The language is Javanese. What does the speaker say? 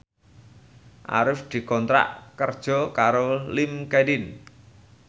Arif dikontrak kerja karo Linkedin